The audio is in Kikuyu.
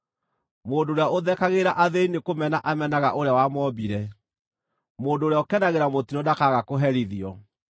Mũndũ ũrĩa ũthekagĩrĩra athĩĩni nĩkũmena amenaga Ũrĩa wamombire; mũndũ ũrĩa ũkenagĩra mũtino ndakaaga kũherithio.